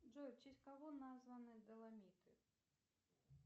джой в честь кого названы доломиты